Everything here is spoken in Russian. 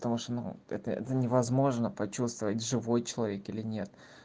потому что это невозможно почувствовать живой человек или нет